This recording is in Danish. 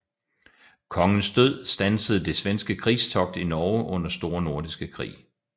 Kongens død standsede det svenske krigstogt i Norge under Store Nordiske Krig